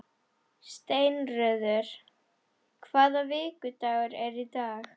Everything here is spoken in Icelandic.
Steinröður, hvaða vikudagur er í dag?